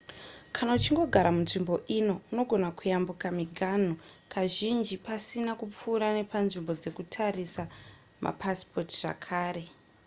kana uchingogara munzvimbo ino unogona kuyambuka miganhu kazhinji pasina kupfuura nepanzvimbo dzekutarisa mapasipoti zvekare